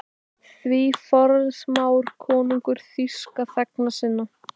Því forsmáir konungur þýska þegna sína?